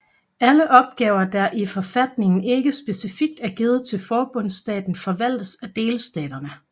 Alle opgaver der i forfatningen ikke specifikt er givet til forbundsstaten forvaltes af delstaterne